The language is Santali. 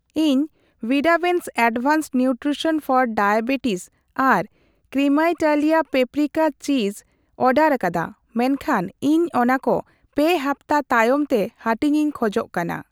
ᱤᱧ ᱣᱤᱰᱟᱣᱮᱱᱥ ᱮᱰᱵᱷᱟᱱᱥᱰ ᱱᱤᱣᱴᱨᱤᱥᱚᱱ ᱯᱷᱚᱨ ᱰᱟᱭᱟᱵᱮᱴᱤᱥ ᱟᱨ ᱠᱨᱤᱢᱮᱭᱛᱟᱞᱤᱭᱟ ᱯᱟᱯᱨᱤᱠᱟ ᱪᱤᱥ ᱚᱰᱟᱨᱟᱠᱟᱫᱟ ᱢᱮᱱᱠᱷᱟᱱ ᱤᱧ ᱚᱱᱟᱠᱚ ᱯᱮ ᱦᱟᱯᱛᱟ ᱛᱟᱭᱚᱢ ᱛᱮ ᱦᱟᱹᱴᱤᱧᱤᱧ ᱠᱷᱚᱡᱚᱜ ᱠᱟᱱᱟ ᱾